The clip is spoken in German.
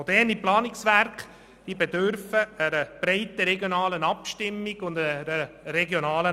Moderne Planungswerke bedürfen einer breiten regionalen Abstimmung und Akzeptanz.